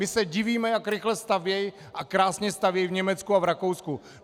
My se divíme, jak rychle stavějí a krásně stavějí v Německu a v Rakousku.